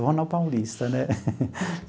Eu vou na Paulista, né?